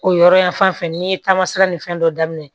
O yɔrɔ yan fan fɛ n'i ye taamasiyɛn ni fɛn dɔ daminɛ